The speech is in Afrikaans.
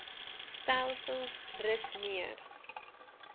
stelsels rus meer